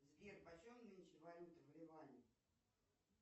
сбер почем нынче валюта в ливане